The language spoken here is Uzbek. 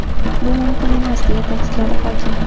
Bu mumkin emas”, deya ta’kidladi hokim.